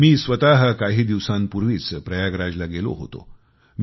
मी स्वतः काही दिवसांपूर्वीच प्रयागराजला गेलो होतो